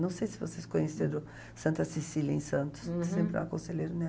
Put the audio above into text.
Não sei se vocês conhecem a Santa Cecília em Santos, que sempre é uma conselheira, né?